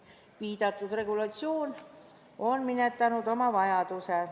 Viidatud regulatsioon on minetanud oma vajaduse.